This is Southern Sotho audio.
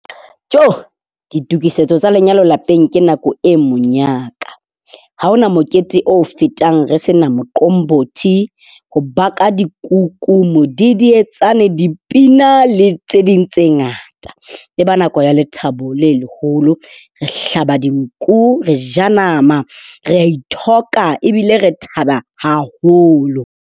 Joo! Ditokisetso tsa lenyalo lapeng ke nako e monyaka. Ha hona mokete o fetang re se na moqombothi. Ho baka dikuku, modidietsane, dipina le tse ding tse ngata. Eba nako ya lethabo le leholo. Re hlaba dinku, re ja nama, re a ithoka ebile re thaba haholo.